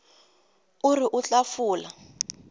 o re o tla fola